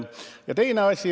Ja teine asi.